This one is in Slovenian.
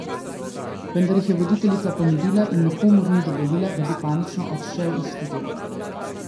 Vendar jih je voditeljica pomirila in nikomur ni dovolila, da bi panično odšel iz studia.